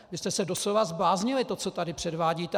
Vy jste se doslova zbláznili, to, co tu předvádíte!